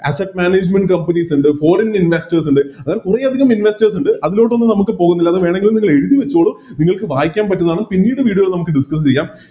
Asset management companies ഇണ്ട് Foreign investors ഇണ്ട് അങ്ങനെ കുറെയധികം Investors ഇണ്ട് അതിലൊട്ടൊന്നും നമുക്ക് പോവുന്നില്ല വേണെങ്കില് നിങ്ങളെഴുതി വെച്ചോളൂ നിങ്ങക്ക് വായിക്കാൻ പറ്റുന്നതാണ് പിന്നീട് Video ല് നമുക്ക് Discuss ചെയ്യാം